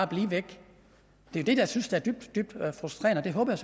blive væk det er det jeg synes der er dybt frustrerende og jeg håber